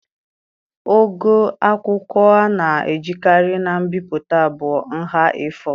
Ogo akwụkwọ a na-ejikarị na mbipụta bụ nha A4.